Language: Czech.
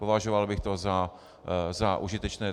Považoval bych to za užitečné.